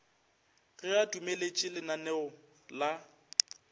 ge a dumeletše lananeo la